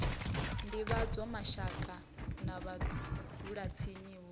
divhadzwa mashaka na vhadzulatsini hu